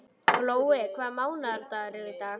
Glói, hvaða mánaðardagur er í dag?